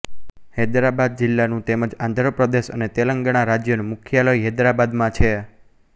હૈદરાબાદ જિલ્લાનું તેમ જ આંધ્ર પ્રદેશ અને તેલંગાણા રાજ્યનું મુખ્યાલય હૈદરાબાદમાં છે